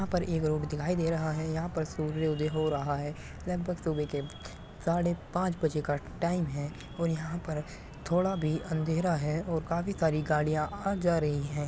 यहाँ पर एक रोड दिखाई दे रहा है यहाँ पर सूर्य उदय हो रहा है लगभग सुबह क साढ़े पांच बजे का टाइम है और यहाँ पर थोड़ा भी अँधेरा है और काफी सारी गाड़ियां आ जा रही हैं।